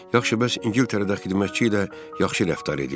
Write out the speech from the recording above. Yaxşı, bəs İngiltərədə xidmətçi ilə yaxşı rəftar edirlər?